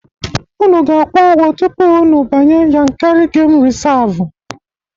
Unu ga-akwụ ụgwo tupu unu banye Yankarị Gemu Rịsavụ.